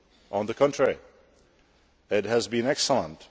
On the contrary, it has been excellent.